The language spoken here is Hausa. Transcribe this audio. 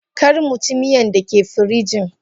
Karmuci miyan dake firijin.